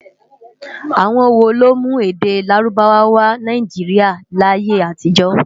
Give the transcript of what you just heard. Awòn wó ló mú èdè Lárúbáwá wò Náijiriá láyé-átijò.?